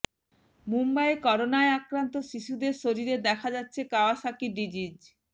মুম্বাইয়ে করোনায় আক্রান্ত শিশুদের শরীরে দেখা দিচ্ছে কাওয়াসাকি ডিজিজ